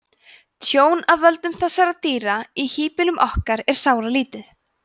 tjón af völdum þessara dýra í híbýlum okkar er sáralítið